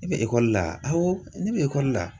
E bɛ ekɔli la? Awɔ, ne bɛ ekɔli la!